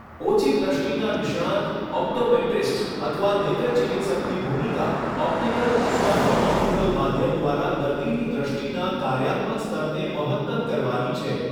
ઓછી દ્રષ્ટિના નિષ્ણાત, ઓપ્ટોમેટ્રિસ્ટ અથવા નેત્ર ચિકિત્સકની ભૂમિકા ઓપ્ટિકલ અથવા નોન ઓપ્ટિકલ માધ્યમ દ્વારા દર્દીની દ્રષ્ટિના કાર્યાત્મક સ્તરને મહત્તમ કરવાની છે.